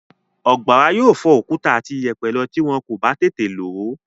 Ọ̀gbàrá yóò fọ òkúta àti ìyẹ̀pẹ̀ lọ tí wọ́n kò bá tètè lò ó.